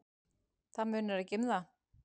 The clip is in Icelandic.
Það munar ekki um það.